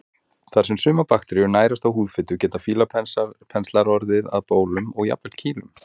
Þar sem sumar bakteríur nærast á húðfitu geta fílapenslar orðið að bólum og jafnvel kýlum.